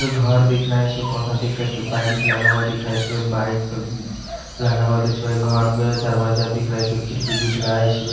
घर दिख रहा है इसमें पौधा दिख रहा इसपे बाइक लगा हुआ दिख रहा इसपे बाइक अ अ लगा हुआ इसमें घर में दरवाजा दिख रहा इसमें खिड़की दिख रहा है इसमें --